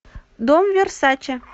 дом версаче